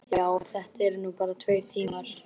Já, en þetta eru nú bara tveir tímar.